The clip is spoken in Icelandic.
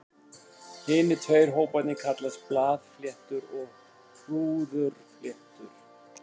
Hinir tveir hóparnir kallast blaðfléttur og hrúðurfléttur.